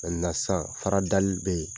nin na sisan, fara dali be yen .